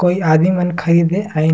कोई आदमी मन खाईन हे अइन--